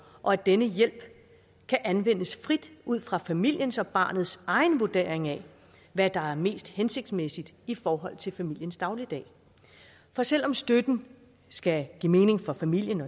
og at denne hjælp kan anvendes frit ud fra familiens og barnets egen vurdering af hvad der er mest hensigtsmæssigt i forhold til familiens dagligdag for selv om støtten skal give mening for familien